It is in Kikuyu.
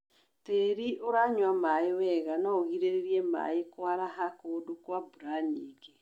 Tĩri ũranyua maĩ wega noũgirĩrĩrie maĩ kwaraha kũndũ kwa mbura nyingĩ.